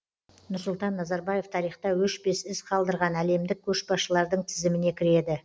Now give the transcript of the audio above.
нұрсұлтан назарбаев тарихта өшпес із қалдырған әлемдік көшбасшылардың тізіміне кіреді